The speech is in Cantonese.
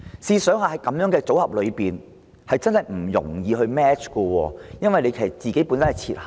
試想想，這種組合其實真的難以 match， 因為計劃本身已設限。